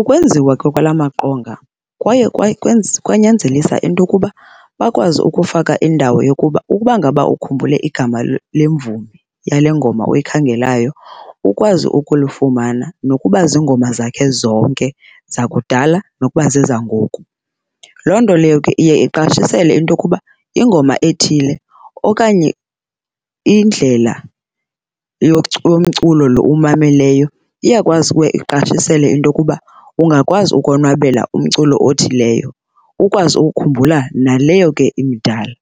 Ukwenziwa ke kwala maqonga kwaye kwanyanzelisa into okuba bakwazi ukufaka indawo yokuba ukubangaba ukhumbule igama lemvumi yale ngoma uyikhangelayo ukwazi ukulifumana nokuba zingoma zakhe zonke zakudala nokuba zezangoku. Loo nto leyo ke iye iqashisele into okuba ingoma ethile okanye indlela yomculo lo uwumameleyo iyakwazi uye iqashisele into okuba ungakwazi ukonwabela umculo othileyo. Ukwazi ukhumbula naleyo ke imidala,